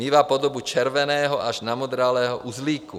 Mívá podobu červeného až namodralého uzlíku.